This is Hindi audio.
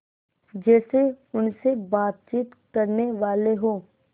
जैसे उनसे बातचीत करनेवाले हों